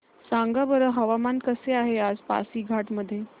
सांगा बरं हवामान कसे आहे आज पासीघाट मध्ये